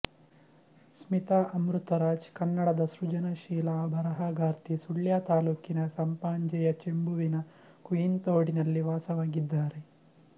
ಸ್ಮಿತಾ ಅಮೃತರಾಜ್ ಕನ್ನಡದ ಸೃಜನಶೀಲ ಬರಹಗಾರ್ತಿ ಸುಳ್ಯ ತಾಲೂಕಿನ ಸಂಪಾಜೆಯ ಚೆಂಬುವಿನ ಕುಯಿಂತೋಡಿನಲ್ಲಿ ವಾಸವಾಗಿದ್ದಾರೆ